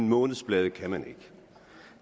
månedsblade kan man ikke